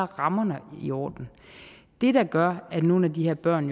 rammerne i orden det der gør at nogle af de her børn